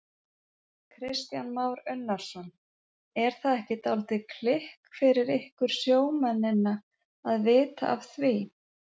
Kristján Már Unnarsson: Er það ekki dálítið kikk fyrir ykkur sjómennina að vita af því?